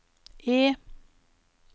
E